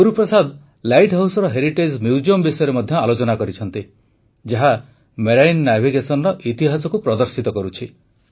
Guruprasad light ହାଉସ୍ର heritage museum ବିଷୟରେ ମଧ୍ୟ ଆଲୋଚନା କରିଛନ୍ତି ଯାହା ମେରାଇନ୍ ନାଭିଗେସନ୍ର ଇତିହାସକୁ ପ୍ରଦର୍ଶିତ କରୁଛି